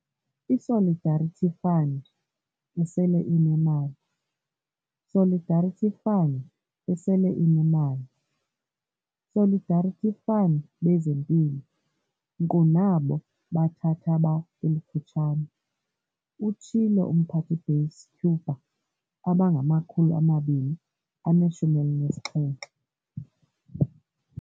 "ISolidarity Fund, esele inemali Solidarity Fund, esele inemali Solidarity Fundbezempilo, nkqu nabo bathathaba elifutshane," utshilo uMphathibase-Cuba abangama-217